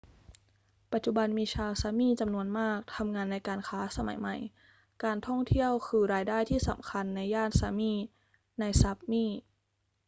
ปัจจุบันมีชาว sámi จำนวนมากทำงานในการค้าสมัยใหม่ การท่องเที่ยวคืิอรายได้ที่สำคัญในย่าน sámi ใน sápmi